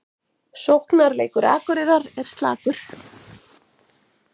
Sóknarleikur Akureyrar er slakur